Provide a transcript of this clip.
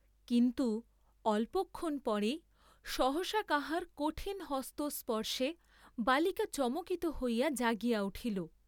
কিন্তু অল্পক্ষণ পরেই সহসা কাহার কঠিন হস্তস্পর্শে বালিকা চমকিত হইয়া জাগিয়া উঠিল।